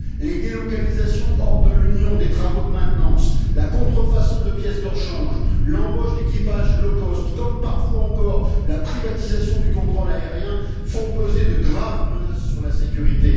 Les délocalisations hors de l'Union des travaux de maintenance, la contrefaçon de pièces de rechange, l'embauche d'équipages low cost comme parfois encore la privatisation du contrôle aérien font peser de graves menaces sur la sécurité.